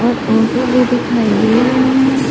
और ऑटो भी दिखाई दे रहे हैं।